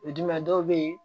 O ye jumɛn ye dɔw be yen